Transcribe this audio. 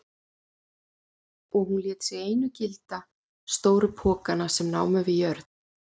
Og hún lét sig einu gilda stóru pokana sem námu við jörð.